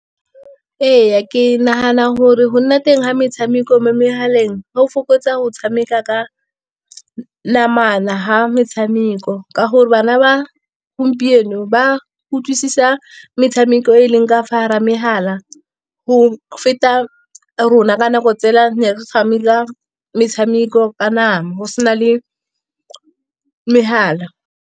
Ee, ke nagana gore go nna teng ga metshameko mo megaleng go fokotsa go tshameka ka namana, ga metshameko. Ka gore bana ba gompieno ba utlwisisa metshameko e e leng ka fa gare ga magala, go feta rona ka dinako tsele ne re tshameke metshameko ka nama, go sena le magala.